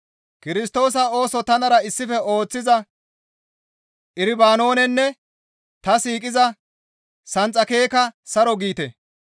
Kirstoosa ooso tanara issife ooththiza Irobanoonenne ta siiqiza Senxakekka saro giite.